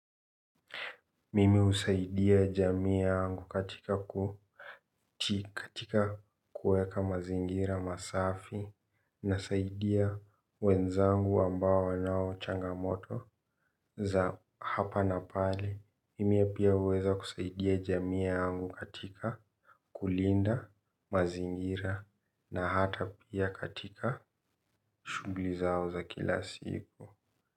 Mimi husaidia jamii yangu katika kuweka mazingira masafi, nasaidia wenzangu ambao wanao changamoto za hapa na pale. Mimi pia huweza kusaidia jamii yangu katika kulinda mazingira na hata pia katika shughuli zao za kila siku.